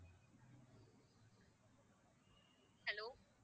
hello